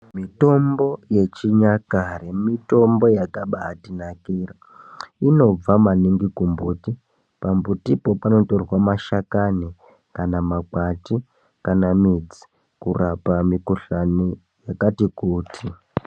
Mitombo yechinyakare mitombo yakabaatinakira. Inobva maningi kumbuti, pambutipo panotorwa mashakani, kana makwati, kana midzi kurapa mikhuhlani yakati kuti.